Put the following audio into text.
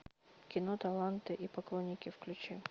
кино таланты и поклонники включи